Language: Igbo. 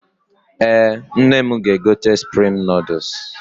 Ee, nne m ga-egote suprim nọọdụs.